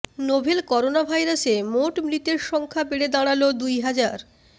novel করোনাভাইরাসে মোট মৃতের সংখ্যা বেড়ে দাঁড়াল দুই হাজার